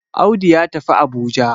Audu ya tafi Abuja